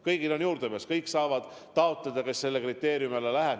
Kõigil on juurdepääs, kõik saavad taotleda, kes teatud kriteeriumidele vastavad.